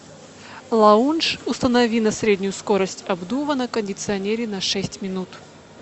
лаунж установи на среднюю скорость обдува на кондиционере на шесть минут